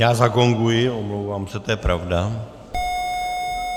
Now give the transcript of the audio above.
Já zagonguji , omlouvám se, to je pravda.